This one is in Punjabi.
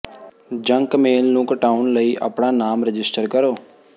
ਜੰਕ ਮੇਲ ਨੂੰ ਘਟਾਉਣ ਲਈ ਆਪਣਾ ਨਾਮ ਰਜਿਸਟਰ ਕਰੋ